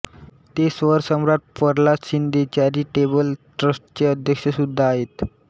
ते स्वरसम्राट प्रल्हाद शिंदे चॅरीटेबल ट्रस्टचे अध्यक्ष सुद्धा आहेत